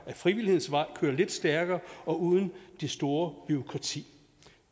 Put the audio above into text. frivillighedens vej kører lidt stærkere og uden det store bureaukrati